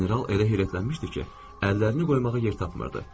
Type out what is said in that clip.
General elə heyrətlənmişdi ki, əllərini qoymağa yer tapmırdı.